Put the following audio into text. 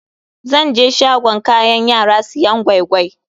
Zan je shagon kayan yara siyan gwai-gwai.